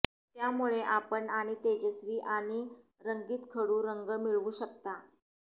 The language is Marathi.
त्यामुळे आपण आणि तेजस्वी आणि रंगीत खडू रंग मिळवू शकता